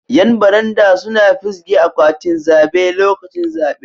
Yan baranda suna fisge akwatin zabe lokacin zabe.